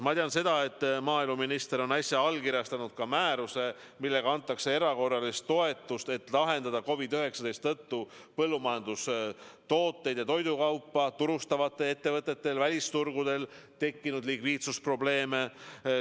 Ma tean, et maaeluminister on äsja allkirjastanud määruse, millega antakse erakorralist toetust, et lahendada COVID-19 tõttu põllumajandustooteid ja toidukaupa turustatavatel ettevõtetel välisturgudel tekkinud likviidsusprobleeme.